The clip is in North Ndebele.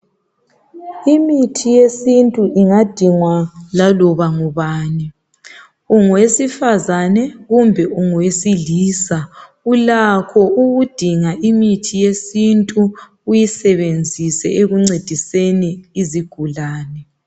Imithi yesintu ingadingwa laloba ngubani ungowesifazane kumbe ungowesilisa ulakho ukudinga imithi yesintu uyisebenzise ekuncediseni izigulane